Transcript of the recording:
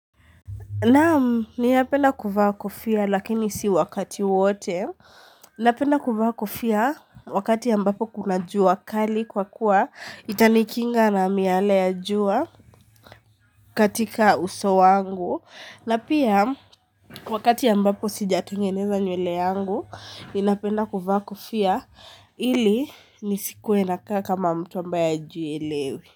Naam ninapenda kuvaa kofia, lakini si wakati wote. Napenda kuvaa kofia wakati ambapo kuna jua kali kwa kuwa itanikinga na miale ya jua katika uso wangu. Na pia wakati ambapo sijatengeneza nywele yangu, ninapenda kuvaa kofia ili nisikue nakaa kama mtu ambaye hajielewi.